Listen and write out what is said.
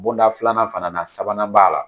Bonda filanan fana sabanan b'a la.